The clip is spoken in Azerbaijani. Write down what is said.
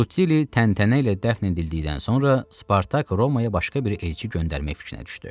Rutilli təntənə ilə dəfn edildikdən sonra Spartak Romaya başqa bir elçi göndərmək fikrinə düşdü.